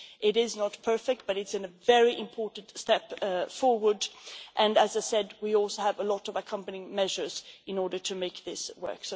It is not perfect, but it is a very important step forward and, as was mentioned, we also have a lot of accompanying measures in order to make this work.